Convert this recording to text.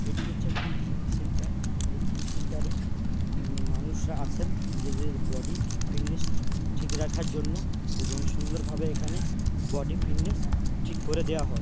একটি হচ্ছে একটি জিম সেন্টার এই জিম সেন্টারে উম-- মানুষরা আসেন নিজেদের বডি ফিটনেস ঠিক রাখার জন্য এবং সুন্দরভাবে এখানে বডি ফিটনেস ঠিক করে দেওয়া হয়।